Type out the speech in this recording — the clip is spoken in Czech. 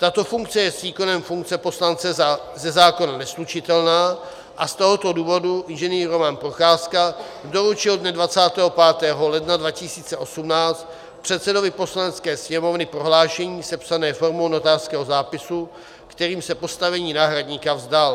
Tato funkce je s výkonem funkce poslance ze zákona neslučitelná, a z tohoto důvodu Ing. Roman Procházka doručil dne 25. ledna 2018 předsedovi Poslanecké sněmovny prohlášení sepsané formou notářského zápisu, kterým se postavení náhradníka vzdal.